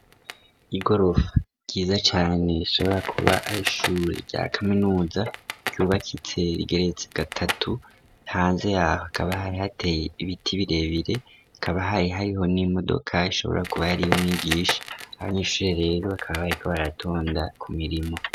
Igorofa ryiza cane ishobora kuba ashuri rya kaminuza ryubakitse igereso gatatu hanze yaho akabahari hateye ibiti birebire akabahaye hariho n'imodoka ishobora kuba yariyoumwigisha abanyishure rero akaba bayeko baratonda ku mirimo.